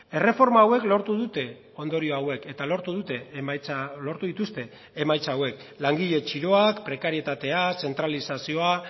erreforma hauek lortu dute ondorio hauek eta lortu dute emaitza lortu dituzte emaitza hauek langile txiroak prekarietatea zentralizazioa